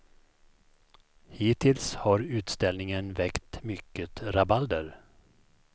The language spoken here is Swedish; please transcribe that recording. Hittills har utställningen väckt mycket rabalder.